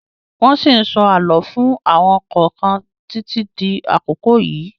Wọ́n ṣí ń sọ àlọ́ fún àwọn kọ̀ọ̀kan títí di àkókò yìí.